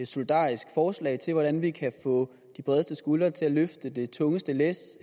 solidarisk forslag til hvordan vi kan få de bredeste skuldre til at løfte det tungeste læs